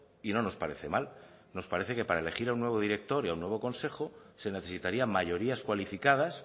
y no nos parece mal nos parece que para elegir a un nuevo director y a un nuevo consejo se necesitarían mayorías cualificadas